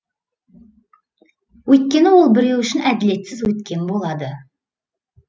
өйткені ол біреу үшін әділетсіз өткен болады